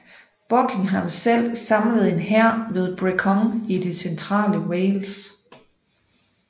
Buckingham selv samlede en hær ved Brecon i det centrale Wales